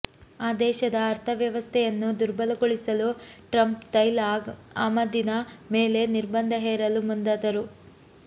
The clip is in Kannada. ಆ ದೇಶದ ಅರ್ಥ್ಯವ್ಯವಸ್ಥೆಯನ್ನು ದುರ್ಬಲಗೊಳಿಸಲು ಟ್ರಂಪ್ ತೈಲ ಆಮದಿನ ಮೇಲೆ ನಿರ್ಬಂಧ ಹೇರಲು ಮುಂದಾದರು